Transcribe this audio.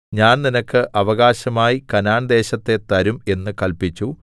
ഞാൻ നിനക്ക് അവകാശമായി കനാൻദേശത്തെ തരും എന്നു കല്പിച്ചു